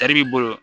Tari b'i bolo